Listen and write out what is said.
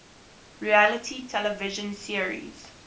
reality television series